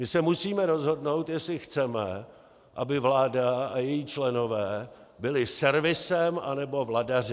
My se musíme rozhodnout, jestli chceme, aby vláda a její členové byli servisem, anebo vladaři.